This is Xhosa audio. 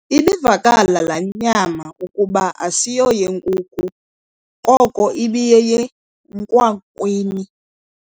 Ibivakala laa nyama ukuba asiyoyenkuku koko ibiyeyekwakwini.